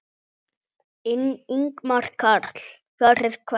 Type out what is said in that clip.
Ingimar Karl: Fyrir hvern?